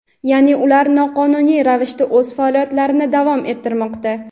Ya’ni ular noqonuniy ravishda o‘z faoliyatlarini davom ettirmoqda.